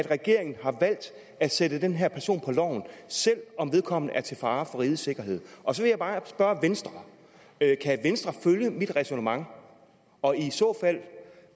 regeringen har valgt at sætte den her person på loven selv om vedkommende er til fare for rigets sikkerhed og så vil jeg bare spørge venstre kan venstre følge mit ræsonnement og i så fald